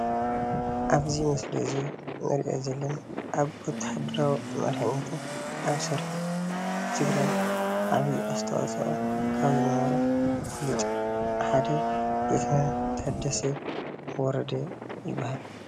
ኣብዚ ምስሊ እዚ እንሪኦ ዘለና ኣብ ወታሃደራዊ መሪሕነትን ኣብ ሰራዊት ትግራይን ዓብይ ኣስተዋፅኦ ካብ ዝነበሮ ፍሉጥ ሓደ ሌቴናል ታደሰ ወረደ ይባሃል፡፡